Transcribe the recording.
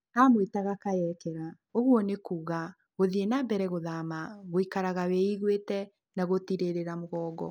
Aamwĩtaga Kayekera, ũguo nĩ kuuga "Gũthiĩ na Mbere Gũthama, Gũikaraga Wĩiguĩte, na Gũtigĩrĩra Mũgongo).